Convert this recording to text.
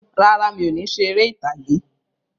Rárá, mi ò ní ṣe eré ìtàgé.